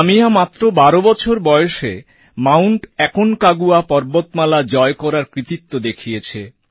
কাম্যা মাত্র ১২ বছর বয়সে মাউন্ট অ্যাকনকাগুয়া পর্বতমালা জয় করার কৃতিত্ব দেখিয়েছে